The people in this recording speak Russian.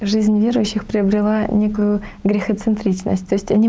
жизнь верующих приобрела некую грехо-центричность то есть они